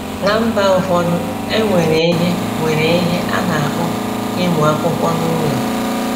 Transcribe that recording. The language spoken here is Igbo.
Ná mba ụfọdụ, e nwere ihe nwere ihe a na-akpọ ịmụ akwụkwọ n'ụlọ.